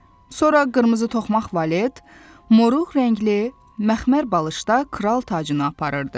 Sonra qırmızı toxmaq valet, moruq rəngli məxmər balışda kral tacını aparırdı.